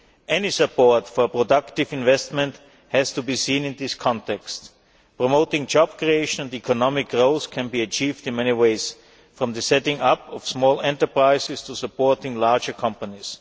Any support for productive investment has to be seen in that context. Promoting job creation and economic growth can be achieved in many ways, from setting up small enterprises to supporting larger companies.